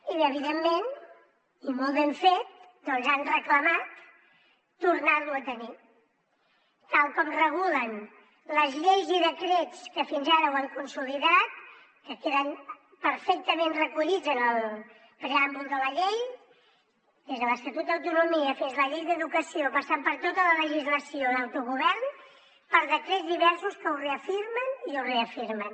i evidentment i molt ben fet doncs han reclamat tornarlo a tenir tal com regulen les lleis i decrets que fins ara ho han consolidat que queden perfectament recollits en el preàmbul de la llei des de l’estatut d’autonomia fins a la llei d’educació passant per tota la legislació d’autogovern per decrets diversos que ho afirmen i ho reafirmen